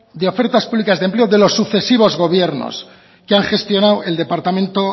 de ofertas públicas de empleo de los sucesivos gobiernos que han gestionado el departamento